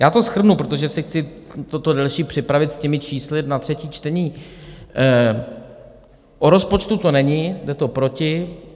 Já to shrnu, protože si chci toto delší připravit s těmi čísly na třetí čtení: o rozpočtu to není, jde to proti.